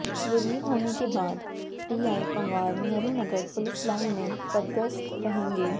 relieve होने के बाद TI Panwar Nehru Nagar police line में पदस्थ रहेंगे